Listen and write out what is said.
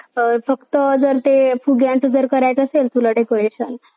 आणा निर्विघर पिंपरी असे attack केलेल्या चुनाव हे या दिले आहे बघा म्हणजे कीतपर्यंत अह शव होत आहेत मोजुनार्थी जाती हे